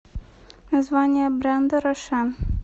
название бренда роше